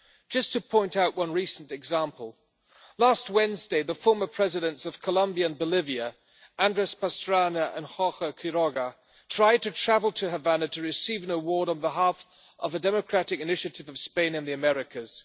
Just to point out one recent example last Wednesday, the former Presidents of Colombia and Bolivia, Andrés Pastrana and Jorge Quiroga, tried to travel to Havana to receive an award on behalf of a democratic initiative of Spain and the Americas.